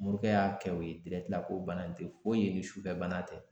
Morikɛ y'a kɛ o ye ko bana in te foyi ye ni sufɛ bana tɛ.